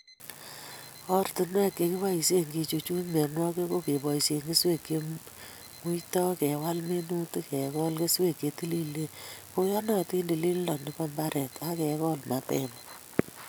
Ortinwek chekiboisie kechuchuch mienwokik ko keboisie keswek che muitoi ,kewal minutik, kekol keswek che tililen akoyonotin, tililindo nebo imbaret ak kekol mapema